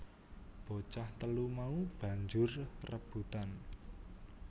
Bocah telu mau banjur rebutan